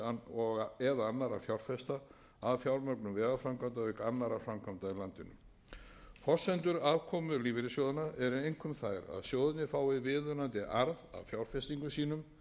fjárfesta að fjármögnun vegaframkvæmda auk annarra framkvæmda í landinu forsendur aðkomu lífeyrissjóðanna eru einkum þær að sjóðirnir fái viðunandi arð af fjárfestingum sínum fjárfestingarnar séu þjóðhagslega